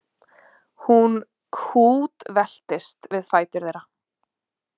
Hún kútveltist við fætur þeirra.